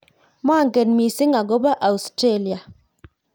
monget mising' akobo Australia